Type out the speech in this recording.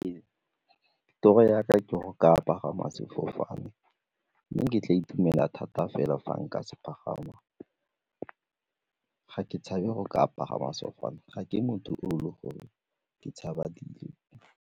Toto ya ka ke go ka pagama sefofane mme ke tla itumela thata fela fa nka se pagama, ke tshabe go ka pagama sefofane, ga ke motho o le gore ke tshaba .